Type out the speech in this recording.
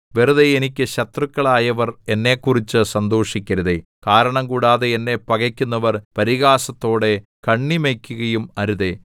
വെറുതെ എനിക്ക് ശത്രുക്കളായവർ എന്നെക്കുറിച്ച് സന്തോഷിക്കരുതേ കാരണംകൂടാതെ എന്നെ പകക്കുന്നവർ പരിഹാസത്തോടെ കണ്ണിമയ്ക്കുകയും അരുതേ